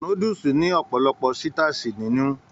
Núdúsí ní ọpọlọpọ sitasi nínú.